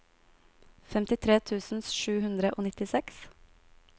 femtitre tusen sju hundre og nittiseks